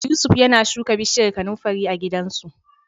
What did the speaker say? Yusuf yana shuka bishiyar kanunfari a gidansu.